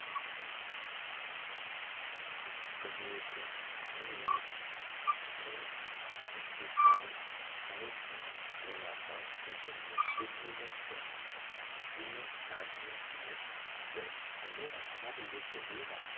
વાત કરવી હોય તો ઘરે લાગતા વખતે તેમને એક દિવસ સાત દિવસ અને ની વર્ષ સુધી રાખો